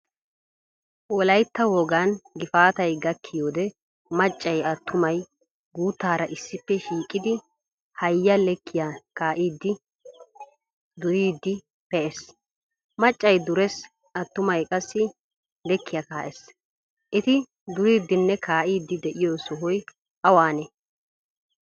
Wolaytta wogaan gifaataay gakkiyode maccay attumay gutara issippe shiiqidi haya lekkiya kaidi, duuridi pe"ees. Maccay durees. Attumay qassi lekkiya kaess. Etti duriidinne kaidi deiyo sohoy awanee?